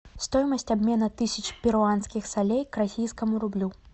стоимость обмена тысячи перуанских солей к российскому рублю